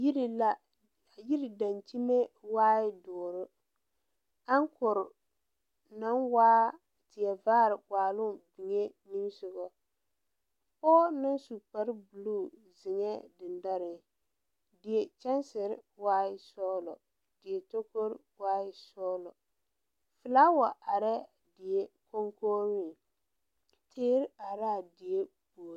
Yiri la yiri dankyime waai dɔɔre aŋkre naŋ waa teɛ vaare waaloŋ be niŋesugɔ pɔɔ naŋ su kpare bluu zeŋɛɛ dendoreŋ die kyɛnserre waai sɔglɔ die tokore waai sɔglɔ flaawa arɛɛ die koŋkogreŋ teere are laa die puor.